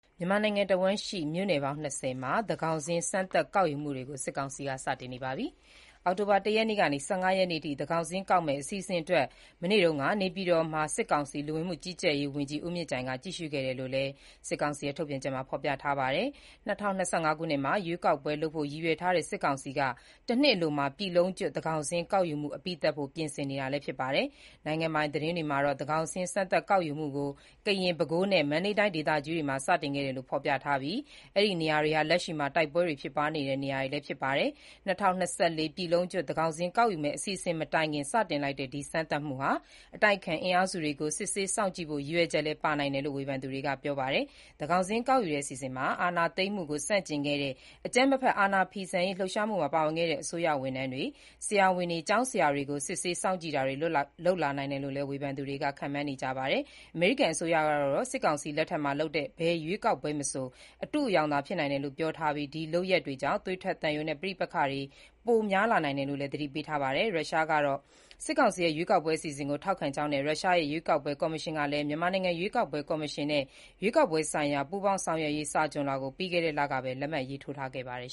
မြန်မာနိုင်ငံတဝှမ်းရှိ မြို့နယ်ပေါင်း ၂၀ မှာ စမ်းသပ် သန်းခေါင်းစာရင်းကောက်ယူမှုတွေကို စစ်ကောင်စီက စတင်လိုက်ပါတယ်။ အောက်တိုဘာ ၁ ရက်ကနေ ၁၅ ရက်အထိ သန်းခေါင်စာရင်းကောက်မယ့် အစီအစဉ်အတွက် မနေ့တုန်းက နေပြည်တော်မှာ စစ်ကောင်စီ လူဝင်မှု ကြီးကြပ်ရေးဝန်ကြီး ဦးမြင့်ကြိုင်က ကြည့်ရှုခဲ့တယ်လို့လည်း ဖော်ပြခဲ့တာပါ။ ၂၀၂၅ ခုနှစ်မှာ ရွေးကောက်ပွဲလုပ်ဖို့ ရည်ရွယ်ထားတဲ့ စစ်ကောင်စီက ၁ နှစ်အလိုမှာ ပြည်လုံးကျွတ် သန်းခေါင်စာရင်းကောက်ယူမှု အပြီးသတ်ဖို့ ပြင်ဆင်နေတာ ဖြစ်ပါတယ်။ နိုင်ငံပိုင်သတင်းတွေမှာတော့ သန်းခေါင်စာရင်းစမ်းသပ်ကောက်ယူမှုကို ကရင်၊ ပဲခူးနဲ့ မန္တလေးတိုင်းဒေသကြီးတွေမှာ စတင်ခဲ့တယ်လို့ ဖော်ပြထားပြီး၊ အဲ့ဒီနေရာတွေဟာ လက်ရှိမှာ တိုက်ပွဲတွေ ဖြစ်ပွားနေတဲ့ နေရာလည်း ဖြစ်ပါတယ်။ ၂၀၂၄ ပြည်လုံးကျွတ် သန်းခေါင်စာရင်းကောက်ယူမယ့် အစီအစဉ် မတိုင်ခင် စတင်လိုက်တဲ့ စမ်းသပ်မှုဟာ အတိုက်အခံ အင်အားစုတွေကို စစ်ဆေးစောင့်ကြည့်ဖို့ ရည်ရွယ်ချက်လည်း ပါနိုင်တယ်လို့ ဝေဖန်သူတွေက ပြောပါတယ်။ သန်းခေါင်စာရင်း ကောက်ယူတဲ့ အစီအစဉ်မှာ အာဏာသိမ်းမှုကို ဆန့်ကျင်ခဲ့တဲ့ အကြမ်းမဖက် အာဏာဖီဆန်ရေး လှုပ်ရှားမှုမှာ ပါဝင်ခဲ့တဲ့ အစိုးရဝန်ထမ်းတွေ၊ ဆရာဝန်တွေ၊ ကျောင်းဆရာတွေကို စစ်ဆေးစောင့်ကြည့်တာတွေ လုပ်လာနိုင်တယ်လို့လည်း ဝေဖန်သူတွေက ခန့်မှန်းနေကြပါတယ်။ အမေရိကန် အစိုးရကတော့ စစ်ကောင်စီလက်ထက်မှာ လုပ်တဲ့ ဘယ်ရွေးကောက်ပွဲမဆို အတုအယောင်သာဖြစ်တယ်လို့ ပြောထားပြီး၊ ဒီလုပ်ရပ်ကြောင့် သွေးထွက်သံယို ပဋိပက္ခတွေ ပိုများလာနိုင်တယ်လို့လည်း သတိပေးထားတာပါ။ ရုရှားကတော့ စစ်ကောင်စီရဲ့ ရွေးကောက်ပွဲ အစီအစဉ်ကို ထောက်ခံကြောင်းနဲ့ ရုရှားရဲ့ ရွေးကောက်ပွဲ ကော်မရှင်ကလည်း မြန်မာနိုင်ငံရွေးကောက်ပွဲ ကော်မရှင်နဲ့ ရွေးကောက်ပွဲဆိုင်ရာ ပူးပေါင်းဆောင်ရွက်ရေး စာချွန်လွှာကို ပြီးခဲ့တဲ့လက လက်မှတ်ရေးထိုးထားပါတယ်